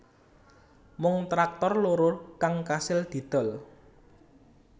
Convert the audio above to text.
Mung traktor loro kang kasil didol